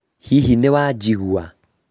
hihi nĩwajĩgua?